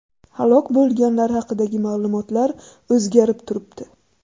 Halok bo‘lganlar haqidagi ma’lumotlar o‘zgarib turibdi.